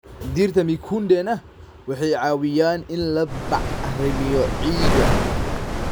Dhirta mikundena waxay caawiyaan in la bacrimiyo ciidda.